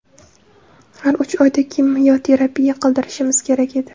Har uch oyda kimyoterapiya qildirishimiz kerak edi.